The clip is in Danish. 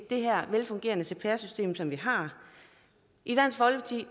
det her velfungerende cpr system som vi har i dansk folkeparti